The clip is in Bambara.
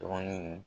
Dɔɔnin